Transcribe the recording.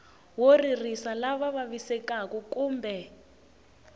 wo ririsa lava vavisekaku kumbe